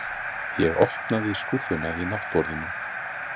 Ég opnaði skúffuna í náttborðinu.